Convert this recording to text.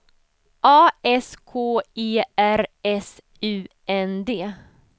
A S K E R S U N D